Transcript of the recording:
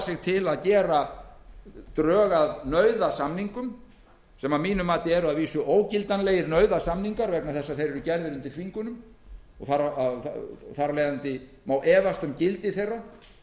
sig til að gera drög að nauðasamningum sem að mínu mati eru að vísu ógildanlegir nauðasamningar þeir eru gerðir undir þvingunum og má þar af leiðandi efast um gildi þeirra